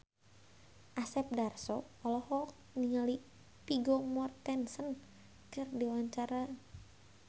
Asep Darso olohok ningali Vigo Mortensen keur diwawancara